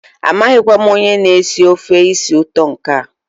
amaghịkwa m onye na-esi ofe isi ụtọ nke a.